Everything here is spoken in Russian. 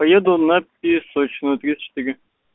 поеду на песочную тридцать четыре